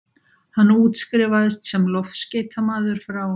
Hann útskrifaðist sem loftskeytamaður frá